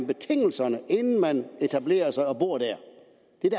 betingelserne inden man etablerer sig og bor det